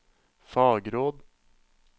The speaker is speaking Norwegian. fagråd